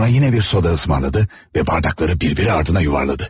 Sonra yenə bir soda ısımarlaadı və bardakları bir biri ardına yuvarladı.